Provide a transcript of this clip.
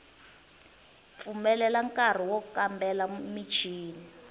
pfumelela nkari wo kambela michini